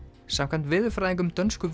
samkvæmt veðurfræðingum dönsku